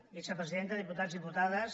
vicepresidenta diputats diputades